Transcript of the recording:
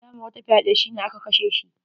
Ya ma wata fyaɗe, shi ne aka kashe shi.